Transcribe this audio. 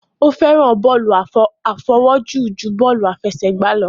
Ó fẹ́ràn bọ́lù àfawọ́jù ju bọ́lù àfẹsẹ̀gbá lọ